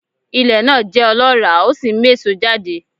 Ilẹ̀ náà jẹ́ ọlọ́ràá ó sì ń méso jáde